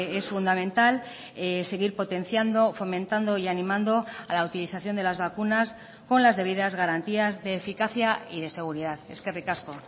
es fundamental seguir potenciando fomentando y animando a la utilización de las vacunas con las debidas garantías de eficacia y de seguridad eskerrik asko